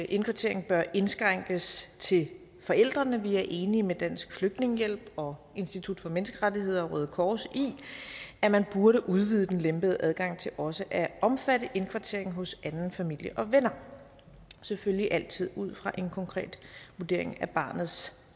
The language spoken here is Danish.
indkvartering bør indskrænkes til forældrene vi er enige med dansk flygtningehjælp og institut for menneskerettigheder og røde kors i at man burde udvide den lempede adgang til også at omfatte indkvartering hos anden familie og venner selvfølgelig altid ud fra en konkret vurdering af barnets